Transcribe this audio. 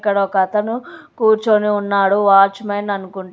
ఇక్కడ ఒకతను కూర్చొని ఉన్నాడు. వాచ్మెన్ అనుకుంటా.